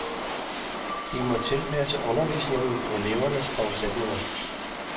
De må tilpasse undervisningen elevernes forudsætninger.